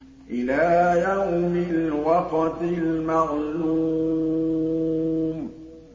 إِلَىٰ يَوْمِ الْوَقْتِ الْمَعْلُومِ